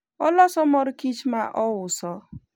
oloso mor kich ma ouso